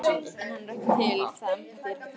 En hann er ekki til, það embætti er ekki til.